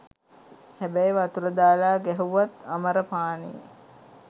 හැබැයි වතුර දාලා ගැහැව්වත් අමර පානේ.